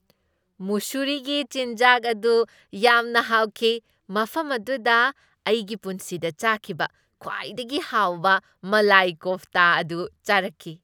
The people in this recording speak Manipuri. ꯃꯨꯁꯨꯔꯤꯒꯤ ꯆꯤꯟꯖꯥꯛ ꯑꯗꯨ ꯌꯥꯝꯅ ꯍꯥꯎꯈꯤ꯫ ꯃꯐꯝ ꯑꯗꯨꯗ ꯑꯩꯒꯤ ꯄꯨꯟꯁꯤꯗ ꯆꯥꯈꯤꯕ ꯈ꯭ꯋꯥꯏꯗꯒꯤ ꯍꯥꯎꯕ ꯃꯂꯥꯏ ꯀꯣꯐꯇꯥ ꯑꯗꯨ ꯆꯥꯔꯛꯈꯤ꯫